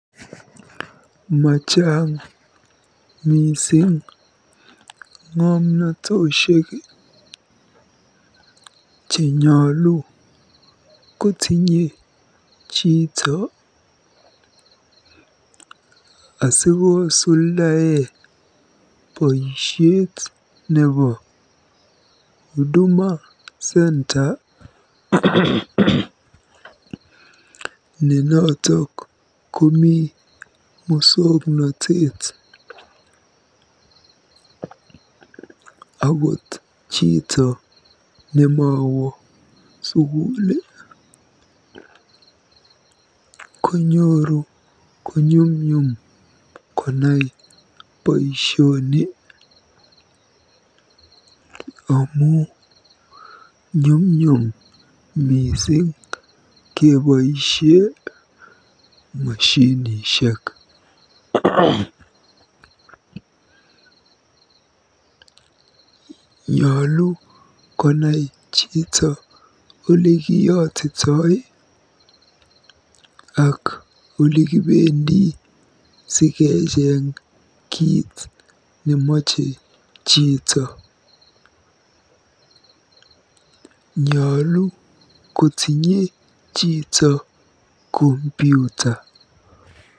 Machang mising ng'omnotosiek chenyolu kotinye chito asikosuldae boisiet nebo Huduma Centre ne notok komi musoknotet. Akot chito nemowo sukul konyoru konyumnyum konai boisioni amu nyumnyum mising keboisie moshinishek. Nyolu konai chito olekiyotito ak olikibendi sikenyor kiit nemache chito. Nyolu kotinye chito computer